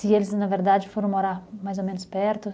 Se eles, na verdade, foram morar mais ou menos perto?